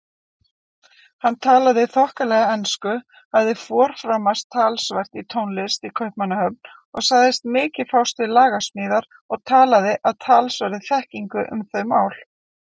Hann talaði þokkalega ensku, hafði forframast talsvert í tónlist í Kaupmannahöfn og sagðist mikið fást við lagasmíðar og talaði af talsverðri þekkingu um þau mál.